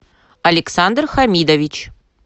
александр хамидович